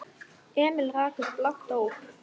Emil rak upp lágt óp.